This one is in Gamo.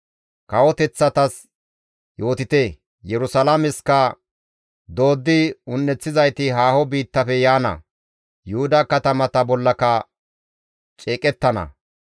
«Kawoteththatas yootite; Yerusalaameskka, ‹Dooddi un7eththizayti haaho biittafe yaana; Yuhuda katamata bollaka ceeqettana;